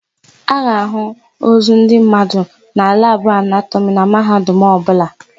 A ga-àhụ́ ozu ndị mmadụ na labụ anatọmị na Mahadum ọbụla.